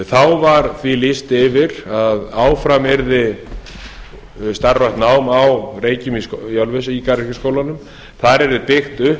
þá var því lýst yfir að áfram yrði starfrækt nám á reykjum í ölfusi í garðyrkjuskólanum þar yrði byggt upp